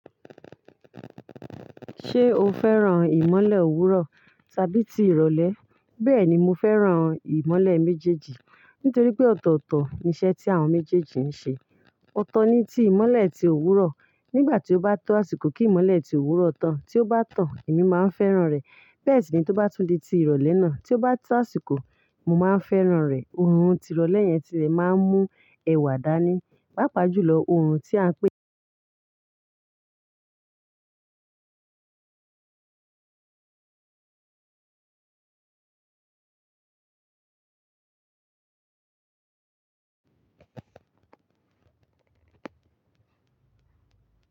Ṣé o fẹ́ràn ìmọ́lẹ̀ òwúrọ̀ tàbí ti ìrọ̀lẹ́? Bẹ́ẹ̀ni, mo fẹ́ràn ìmọ́lẹ̀ méjèèjì nítorí pé ọ̀tọ̀ọ̀tọ̀ ni iṣẹ́ tí àwọn méjèèjì ń ṣe. Ọ̀tọ̀ ni ti ìmọ́lẹ̀ ti òwúrọ̀ nígbà tí ó bá tọ́ àsìkò kí ìmọ́lẹ̀ ti òwúrọ̀ tàn. Tí ó bá tàn, èmi máa ń fẹ́ràn rẹ̀. Bẹ́ẹ̀ sì ni tó bá tún di ti ìrọ̀lẹ́ náà, tí ó bá tọ́ àsìkò, mo máa ń fẹ́ràn rẹ̀. Orùn tirọ̀lẹ́ yẹn ti lè máa ń mú ẹwà dání. Pápa jùlọ orùn tí a ń pè.